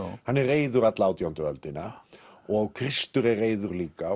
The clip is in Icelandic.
hann er reiður alla átjándu öldina og Kristur er reiður líka